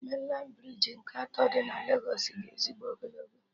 Mainlandị brij nke atọ dị na Legos dị ezigbo ogologo